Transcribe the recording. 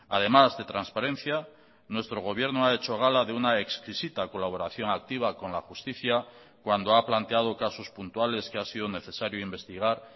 además de transparencia nuestro gobierno ha hecho gala de una exquisita colaboración activa con la justicia cuando ha planteado casos puntuales que ha sido necesario investigar